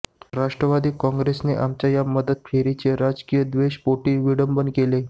राष्ट्रवादी कॉंग्रेसने आमच्या या मदतफेरीचे राजकीय द्वेषापोटी विडंबन केले